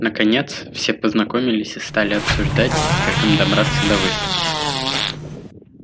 наконец все познакомились и стали обсуждать как им добираться до выставки